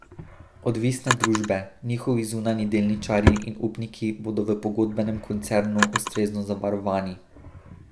Odvisne družbe, njihovi zunanji delničarji in upniki bodo v pogodbenem koncernu ustrezno zavarovani.